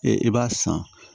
Ee i b'a san